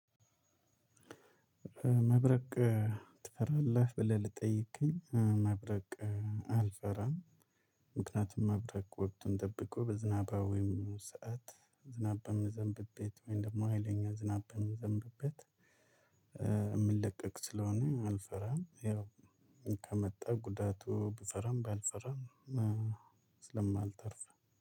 መብረቅ ትፈራለህ? ብለህ ለጠየከኝ መብረቅ አልፈራም። ምክንያቱም መብረቅ ወቅቱን ጠብቆ በዝናባማ ወይም ሰዓት ዝናብ በሚዘንብበት ወይም ደግሞ ሀይለኛ ዝናብ በምዘንብበት የምለቀቅ ስለሆነ አልፈራም። ያው ከመጣ ጉዳቱ ብፈራም ባልፈራም ስለማልተርፍ